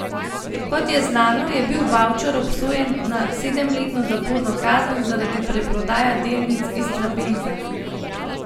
Kot je znano, je bil Bavčar obsojen na sedemletno zaporno kazen zaradi preprodaje delnic Istrabenza.